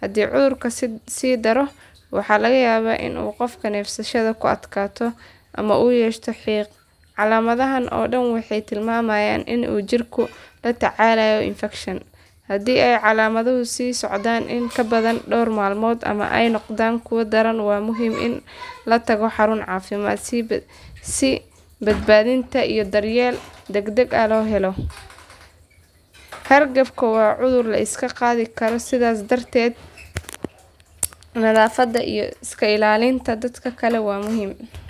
Haddii cudurka sii daro waxaa laga yaabaa in qofka neefsashada ay ku adkaato ama uu yeesho xiiq. Calaamadahan oo dhan waxay tilmaamayaan in jirku uu la tacaalayo infakshan. Haddii ay calaamaduhu sii socdaan in ka badan dhowr maalmood ama ay noqdaan kuwo daran waa muhiim in la tago xarun caafimaad si baadhitaan iyo daryeel degdeg ah loo helo. Hargabku waa cudur la iska qaadi karo sidaa darteed nadaafadda iyo iska ilaalinta dadka kale waa muhiim.